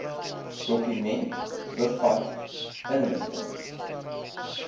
dokument bevat inligting